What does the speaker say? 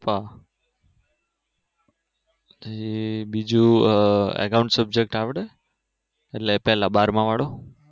Pappa હમ બીજું અગમષેક જોતા આવડે એટલે પેલા બારમાં વાળું કા